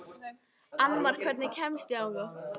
Annmar, hvernig kemst ég þangað?